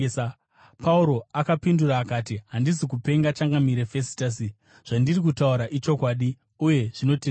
Pauro akapindura akati, “Handisi kupenga, changamire Fesitasi. Zvandiri kutaura ichokwadi uye zvinotendeka.